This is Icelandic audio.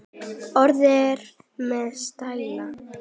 Orðin eru með stæla.